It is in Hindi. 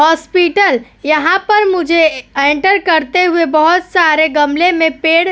हॉस्पिटल यहाँ पर मुझे एंटर करते हुए बहुत सारे गमले में पेड़ --